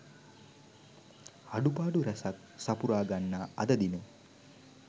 අඩුපාඩු රැසක් සපුරා ගන්නා අද දින